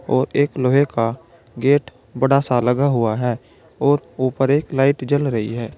और एक लोहे का गेट बड़ा सा लगा हुआ है और ऊपर एक लाइट जल रही है।